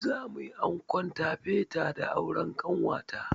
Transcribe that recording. Za mu yi ankon tafeta da auren ƙanwata.